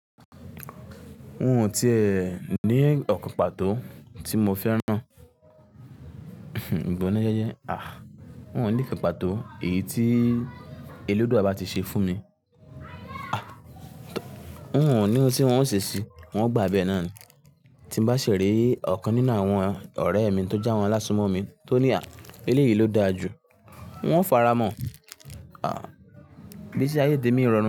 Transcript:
N ò tí è ní ọ̀kan pàtó tí mo fẹ́ràn. Àh! Wọn ò ní ìkàn pàtó èyí tí èledua bà tí ṣe fún mi. Àh! Wọn ò ní ohun tí wọ́n ó ṣe sí i, wọ́n gbà á bí ẹ náà ni. Tí bá ṣère ọ̀kan nínú àwọn ọ̀rẹ́ mi tó jẹ́ àwọn alásùmọ́mi tó ní àh! Ilé yìí ló dáa jù, wọ́n ó faramọ́. Àh! Igbesí ayé tèmi rọrùn.